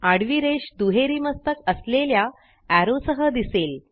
आडवी रेष दुहेरी मस्तक असलेल्या एरो सह दिसेल